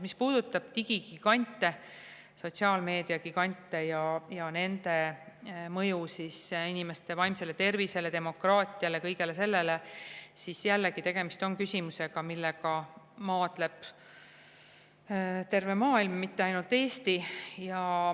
Mis puudutab digigigante, sotsiaalmeedia gigante ja nende mõju inimeste vaimsele tervisele, demokraatiale – kõigele sellele, siis jällegi, tegemist on küsimusega, millega maadleb terve maailm, mitte ainult Eesti.